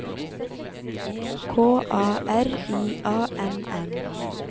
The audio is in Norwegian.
K A R I A N N